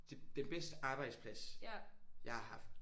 Det den bedste arbejdsplads jeg har haft